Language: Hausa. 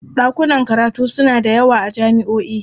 Ɗakunan karatu suna da yawa a jami'o'i.